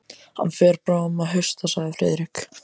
Hann fer bráðum að hausta sagði Friðrik.